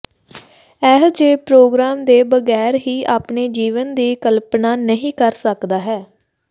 ਅਜਿਹੇ ਪ੍ਰੋਗਰਾਮ ਦੇ ਬਗੈਰ ਹੀ ਆਪਣੇ ਜੀਵਨ ਦੀ ਕਲਪਨਾ ਨਹੀ ਕਰ ਸਕਦਾ ਹੈ